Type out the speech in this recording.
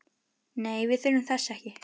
Nei, við þurfum þess ekki.